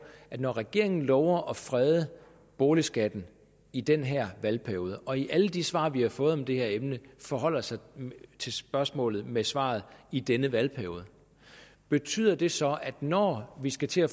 når regeringen lover at frede boligskatten i den her valgperiode og i alle de svar vi har fået om det her emne forholder sig til spørgsmålet med svaret i denne valgperiode betyder det så at når vi skal til at